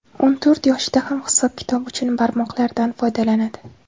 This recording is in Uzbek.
O‘n to‘rt yoshida ham hisob-kitob uchun barmoqlaridan foydalanadi.